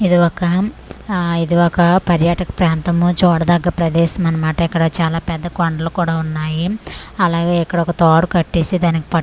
ఇది ఒకా ఆ ఇది ఒకా పర్యాటక ప్రాంతము చూడదగ్గ ప్రదేశం అన్న మాట ఇక్కడ చాలా పెద్ద కొండలు కూడా ఉన్నాయి అలాగే ఇక్కడ ఒక తాడు కట్టేసి దానికి పట్టు--